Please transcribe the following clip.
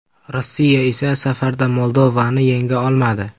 Rossiya esa safarda Moldovani yenga olmadi.